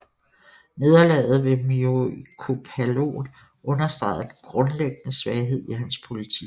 Nederlaget ved Myriokephalon understregede den grundlæggende svaghed i hans politik